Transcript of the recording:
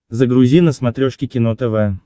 загрузи на смотрешке кино тв